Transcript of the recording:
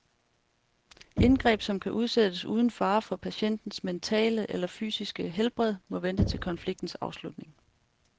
Indgreb, som kan udsættes uden fare for patientens mentale eller fysiske helbred, må vente til konfliktens afslutning.